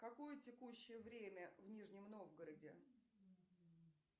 какое текущее время в нижнем новгороде